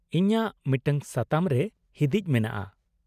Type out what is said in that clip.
-ᱤᱧᱟᱹᱜ ᱢᱤᱫᱴᱟᱝ ᱥᱟᱛᱟᱢ ᱨᱮ ᱦᱤᱫᱤᱪ ᱢᱮᱱᱟᱜᱼᱟ